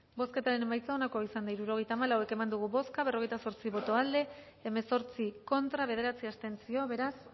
bozketaren emaitza onako izan da hirurogeita hamabost eman dugu bozka berrogeita zortzi boto aldekoa hemezortzi contra bederatzi abstentzio beraz